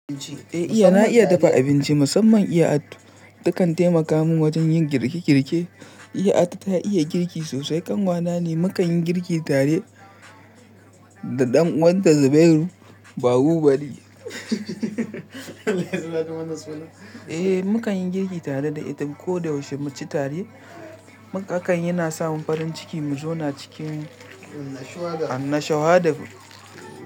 Eh iya na iya dafa abinci musamman iya addu. Takan taimaka min wajen yin girke girke. Iya attu ta iya girki sosai kanwa na ne. Mu kan yi girki tare da ɗan uwanta Zubairu Bahubali. Eh mu kan yi girki tare da ita ko da yaushe muke tare. Haka aka yi na sa mun farin ciki mu zauna cikin annashuwada.